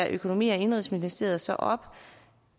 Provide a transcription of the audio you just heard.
økonomi og indenrigsministeriet så op